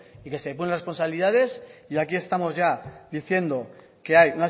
y depurar responsabilidades y aquí estamos ya diciendo que hay